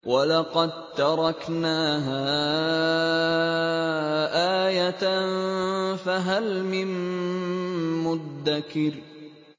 وَلَقَد تَّرَكْنَاهَا آيَةً فَهَلْ مِن مُّدَّكِرٍ